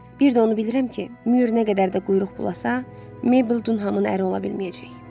Bir də onu bilirəm ki, Mür nə qədər də quyruq bulasa, Meybl Dunhamın əri ola bilməyəcək.